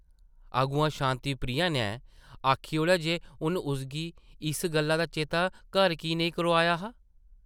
अग्गुआं शांति प्रिया नै आखी ओड़ेआ जे उन्न उसगी इस गल्ला दा चेता घर की नेईं करोआया हा?